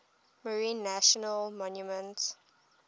marine national monument